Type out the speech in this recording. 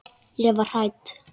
Ég varð hrædd.